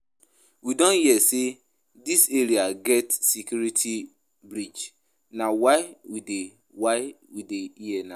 We don hear say dis area get security bridge na why we dey why we dey here now